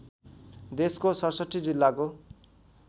देशको ६७ जिल्लाको